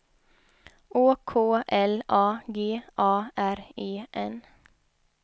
Å K L A G A R E N